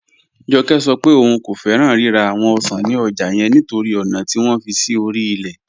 Jọ́kẹ́ sọ̀ pẹ̀ ọún kò fẹ́ran rírà awọn ọ̀ṣan ni ọ́jà yẹn nítorí ọna tí wọn fi sí orí ilẹ̀.